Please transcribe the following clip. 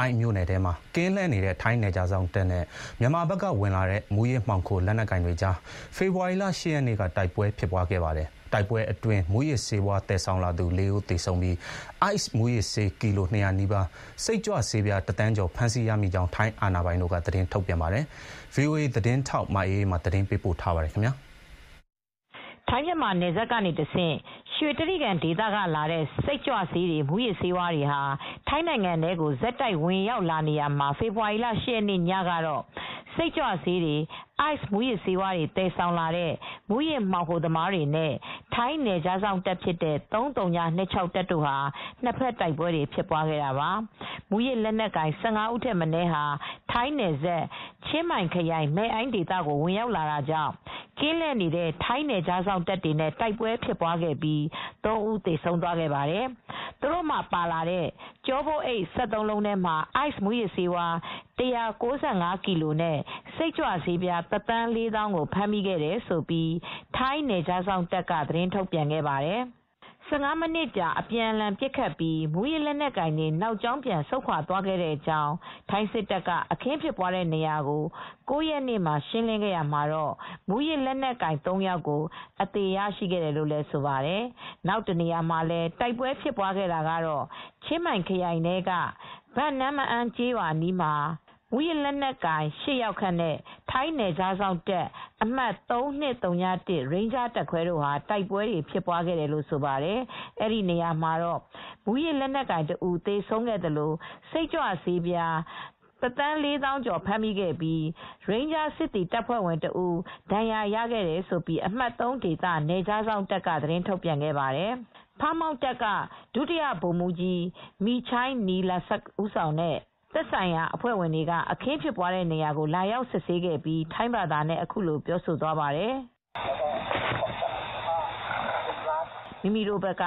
အိုင့်မြိုနယ်ထဲမှာ ကင်းလှည့်နေတဲ့ ထိုင်း နယ်ခြားစောင့်တပ်နဲ့ မြန်မာဘက်ကဝင်လာတဲ့ မူးယစ်မှောင်ခို လက်နက်ကိုင်တွေကြား ဖေဖော်ဝါရီလ ၈ ရက်နေ့က တိုက်ပွဲဖြစ်ခဲ့ပါတယ်။ တိုက်ပွဲအတွင်း မူးယစ်ဆေးဝါး သယ်ဆောင်လာသူ ၄ ဦး သေဆုံးပြီး ICE မူးယစ်ဆေး ကီလို ၂၀၀ နီးပါး၊ စိတ်ကြွဆေးပြား ၁ သန်းကျော် ဖမ်းဆီးရမိကြောင်း ထိုင်းအာဏာပိုင်တို့က သတင်းထုတ်ပြန်ပါတယ်။ ဗွီအိုအေသတင်းထောက် မအေးအေးမာ သတင်းပေးပို့ထားပါတယ်။ ထိုင်း-မြန်မာနယ်စပ်ကနေတဆင့် ရွှေတြိဂံဒေသကလာတဲ့ စိတ်ကြွဆေးတွေ မူးယစ်ဆေးတွေဟာ ထိုင်းနိုင်ငံထဲကို ဆက်တိုက်ဝင်ရောက်နေရာမှာ ဖေဖေါ်ဝါရီလ ၈ ရက်နေ့ညကတော့ စိတ်ကြွဆေးတွေ အိုက်စ်မူးယစ်ဆေးတွေ သယ်ဆောင်လာတဲ့ မူးယစ်မှောင်ခိုသမားတွေနဲ့ ထိုင်းနယ်ခြားစောင့်တပ်ဖြစ်တဲ့ ၃၀၂၆ တပ်တို့ နှစ်ဘက် တိုက်ပွဲဖြစ်ပွားခဲ့တာပါ။ မူးယစ်လက်နက်ကိုင် ၁၅ ဦးထက်မနည်းဟာ ထိုင်းနယ်စပ်၊ ချင်းမိုင်ခရိုင်၊ မဲ့အိုင်းဒေသကို ဝင်ရောက်လာတာကြောင့် ကင်းလှည့်နေတဲ့ ထိုင်းနယ်ခြားစောင့်တပ်တွေနဲ့ တိုက်ပွဲဖြစ်ပြီး ၃ ဦး သေဆုံးသွားခဲ့ပါတယ်။ သူတို့ပါလာတဲ့ ကျောပိုးအိတ် ၁၃ လုံးထဲမှာ Ice မူးယစ်ဆေး ၁၉၅ ကီလိုနဲ့ စိတ်ကြွဆေး ၁ သန်း ၄ သောင်းကို ဖမ်းမိခဲ့တယ်လို့ ထိုင်းနယ်ခြားစောင့်တပ်က သတင်းထုတ်ပြန်ခဲ့ပါတယ် ။ ၁၅ မိနစ်ကြာ အပြန်အလှန် ပစ်ခတ်ပြီး မူးယစ်လက်နက်ကိုင်တွေ နောက်ကြောင်း ပြန်ဆုတ်ခွာသွား ခဲ့ကြောင်း၊ ထိုင်းစစ်တပ်က အခင်းဖြစ်တဲ့နေရာကို ၉ ရက်နေ့မှာ ရှင်းလင်းခဲ့ရာမှာတော့ မူးယစ်လက်နက်ကိုင် ၃ ယောက်ကို အသေရရှိတယ်လို့ဆိုပါတယ်။ နောက်တနေရာမှာလည်း တိုက်ပွဲဖြစ်ပွားခဲ့တာကတော့ ချင်းမိုင်ခရိုင်ထဲက ဘန်နမ့်မအန်းကျေးရွာ အနီးက တောင်တန်းမှာ မူးယစ်လက်နက်ကိုင် (၈) ယောက်ခန့်နဲ့ ထိုင်းနယ်ခြားစောင့်အမှတ် ၃၂၀၁ ရိန်းဂျားတပ်ခွဲတို့ တိုက်ပွဲဖြစ်ပွားခဲ့ တယ်လို့ ဆိုပါတယ် အဲဒီနေရာမှာတော့ မူးယစ်လက်နက်ကိုင် တဦး သေဆုံးခဲ့သလို စိတ်ကြွဆေးပြား ၁ သန်းကျော် (၁,၀၀၄,၀၀၀) ဖမ်းမိခဲ့ပြီး ရိန်းဂျားစစ်သည် တပ်ဖွဲ့ဝင်တဦး ဒဏ်ရာရခဲ့တယ်လို့ အမှတ် ၃ နယ်ခြားစောင့်တပ်က သတင်းထုတ်ပြန်ခဲ့ပါတယ်။ Pha Muang Task Force က ဒု-ဗိုလ်မှူးကြီး Meechai Nilasat မီချိုုင်း နီလဆပ် ဦးဆောင်တဲ့ သက်ဆိုင်ရာအဖွဲ့ဝင်တွေ အခင်းဖြစ်တဲ့နေရာကို လာရောက်စစ်ဆေးခဲ့ပြီး ထိုင်းဘာသာနဲ့ အခုလိုပြောသွားပါတယ်။ "မိမိတို့ဘက်က